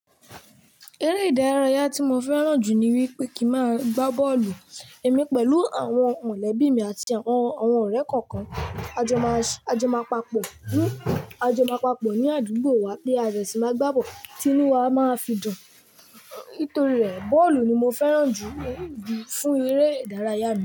Eré ìdárayá tí mo fẹ́ràn jù ni wípé kí n máa gbá bọ́ọ̀lù. Èmi pẹ̀lú àwọn mọ̀lẹ́bí mi àti àwọn ọ̀rẹ́ nǹkan kan a jọ ma. A jẹ máa papọ̀, a jẹ máa papọ̀ ní àdúgbò wa pé a dẹ̀ sì máa gbá bọ́ọ̀lù. Tínú wa máa fi dùn. Nítorí rẹ̀, bọ́ọ̀lù ni mo fẹ́ràn jù fún eré ìdárayá mi.